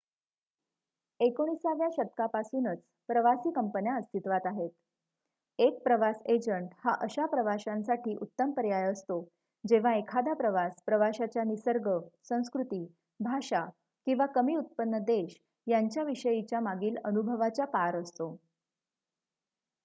19 व्या शतकापासूनच प्रवासी कंपन्या अस्तित्वात आहेत एक प्रवास एजंट हा अशा प्रवाशांसाठी उत्तम पर्याय असतो जेव्हा एखादा प्रवास प्रवाशाच्या निसर्ग संस्कृती भाषा किंवा कमी उत्पन्न देश यांच्या विषयीच्या मागील अनुभवाच्या पार असतो